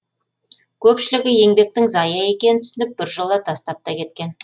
көпшілігі еңбектің зая екенін түсініп біржолы тастап та кеткен